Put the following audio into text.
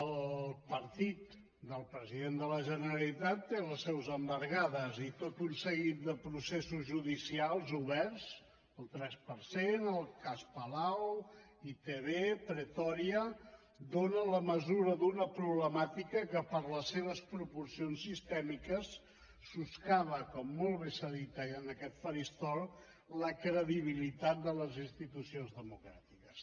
el partit del president de la generalitat té les seus embargades i tot un seguit de processos judicials oberts el tres per cent el cas palau itv pretòria dona la mesura d’una problemàtica que per les seves proporcions sistèmiques soscava com molt bé s’ha dit en aquest faristol la credibilitat de les institucions democràtiques